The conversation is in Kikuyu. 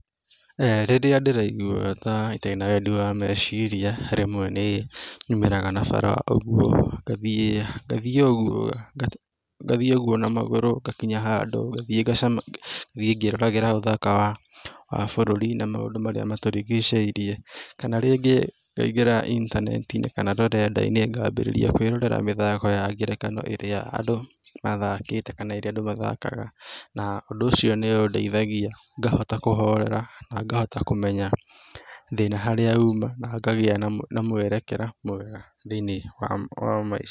Rĩrĩa ndĩraigua ta ndĩ na wendi wa meciria, rĩmwe nĩ nyumĩraga na bara o uguo ngathiĩ na magũrũ ngakinya handũ, ngathiĩ ngĩroragĩra ũthaka wa bũrũri na maũndũ marĩa matũrigicĩirie kana rĩngĩ ngaingĩra intaneti-inĩ kana rũrenda-inĩ ngambĩrĩria kwĩrorera mĩthako ya ngerekano ĩrĩa andũ mathakĩte kana ĩrĩa andũ mathakaga, na ũndũ ũcio nĩũndeithagia, ngahota kũhorera, na ngahota kũmenya thĩna harĩa uma na ngagĩa na mwerekera mwega thĩinĩ wa maica.